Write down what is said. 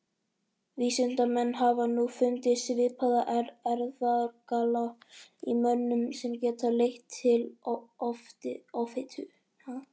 vísindamenn hafa nú fundið svipaða erfðagalla í mönnum sem geta leitt til offitu